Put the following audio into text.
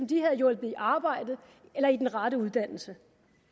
de havde hjulpet i arbejde eller i den rette uddannelse